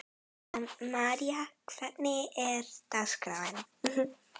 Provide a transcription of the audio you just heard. María, hvernig er dagskráin?